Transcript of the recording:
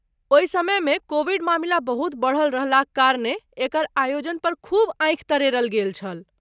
ओहि समयमे कोविड मामिला बहुत बढल रहलाक कारणें एकर आयोजन पर खूब आँखि तरेरल गेल छल।